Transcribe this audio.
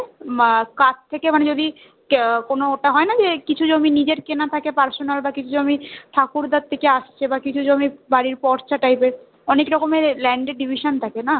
মা কাছ থেকে মানে যদি কোনটা হয় না যে কিছু জমি নিজের কেনা থাকে personal বা কিছু জমি ঠাকুরদার থেকে আসছে বা কিছু জমি বাড়ির পরচা type এর অনেক রকমের land এর division থাকে না, তো